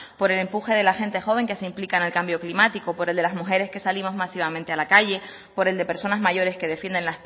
por el empuje de la gente joven que se implica en el cambio climático por el de las mujeres que salimos masivamente a la calle por el de personas mayores que defienden